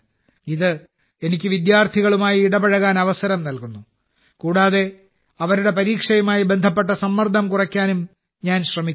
ഇത് എനിക്ക് വിദ്യാർത്ഥികളുമായി ഇടപഴകാൻ അവസരം നൽകുന്നു കൂടാതെ അവരുടെ പരീക്ഷയുമായി ബന്ധപ്പെട്ട സമ്മർദ്ദം കുറയ്ക്കാനും ഞാൻ ശ്രമിക്കുന്നു